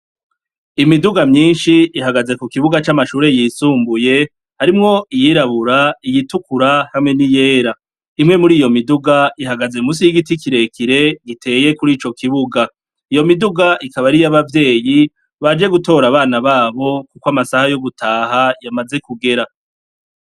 Imiduga myinshi ihagaze ku kibuga c'amashure yisumbuye, harimwo iyirabura, iyitukura hamwe ni yera. Imwe muri iyo miduga ihagaze munsi y'igiti kirekire giteye kuri ico kibuga. Iyo miduga ikaba ariy'abavyeyi baje gutora abana babo kuko amasaha yo gutaha yamaze kugera.